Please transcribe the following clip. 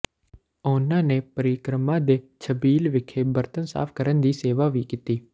ਉਨਾਂ ਨੇ ਪਰਿਕਰਮਾ ਦੇ ਛਬੀਲ ਵਿਖੇ ਬਰਤਨ ਸਾਫ ਕਰਨ ਦੀ ਸੇਵਾ ਵੀ ਕੀਤੀ